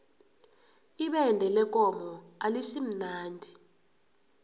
ibende lekomo alisimnandi